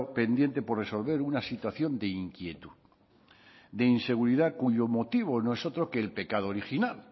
pendiente por resolver una situación de inquietud de inseguridad cuyo motivo no es otro que el pecado original